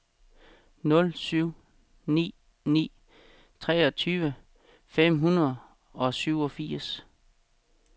nul syv ni ni treogtyve fem hundrede og syvogfirs